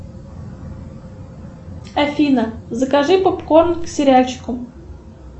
афина закажи попкорн к сериальчику